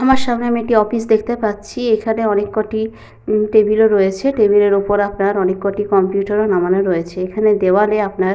আমার সামনে আমি একটি অফিস দেখতে পাচ্ছি। এখানে অনেক কটি টেবিল -ও রয়েছে টেবিল -এর উপর আপনার অনেক কটি কম্পিউটার -ও নামানো রয়েছে। এখানে দেওয়ালে আপনার।